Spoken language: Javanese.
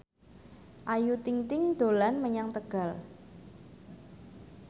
Ayu Ting ting dolan menyang Tegal